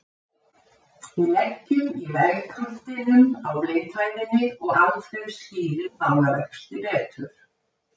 Við leggjum í vegkantinum á blindhæðinni og Alfreð skýrir málavexti betur.